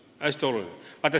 See on hästi oluline!